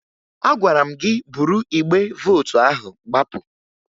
Agwara m gị buru igbe vootu ahụ gbapụ!